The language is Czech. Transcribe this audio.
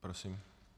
Prosím.